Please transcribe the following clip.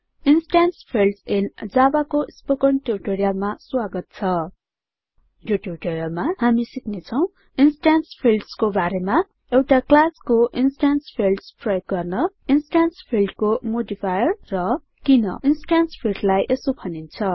instance fields in Javaको spoken ट्युटोरियलमा स्वागत छ यो ट्युटोरियलमा हामी सिक्नेछौं इन्स्टेन्स fieldsको बारेमा एउटाclassको इन्स्टेन्स फिल्ड्स प्रयोग गर्न इन्स्टेन्स fieldsको लागि मोडिफायर्स र किन इन्स्टेन्स fieldsलाई यसो भनिन्छ